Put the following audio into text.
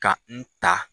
Ka n ta